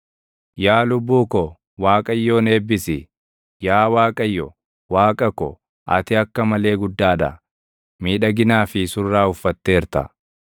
Yaa lubbuu ko, Waaqayyoon eebbisi. Yaa Waaqayyo, Waaqa ko, ati akka malee guddaa dha; miidhaginaa fi surraa uffatteerta.